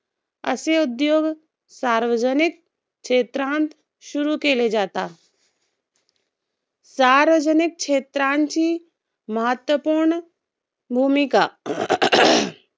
असे उद्योग सार्वजनिक क्षेत्रांत सुरु केले जातात. सार्वजनिक क्षेत्रांची महत्वपूर्ण भूमिका